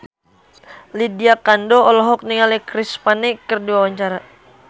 Lydia Kandou olohok ningali Chris Pane keur diwawancara